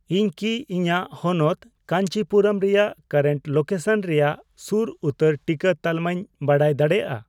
ᱤᱧ ᱠᱤ ᱤᱧᱟᱜ ᱦᱚᱱᱚᱛ ᱠᱟᱹᱧᱪᱤᱯᱩᱨᱟᱹᱢ ᱨᱮᱭᱟᱜ ᱠᱟᱨᱮᱱᱴ ᱞᱳᱠᱮᱥᱚᱱ ᱨᱮᱭᱟᱜ ᱥᱩᱨ ᱩᱛᱟᱹᱨ ᱴᱤᱠᱟᱹ ᱛᱟᱞᱢᱟᱧ ᱵᱟᱰᱟᱭ ᱫᱟᱲᱮᱭᱟᱜᱼᱟ ᱾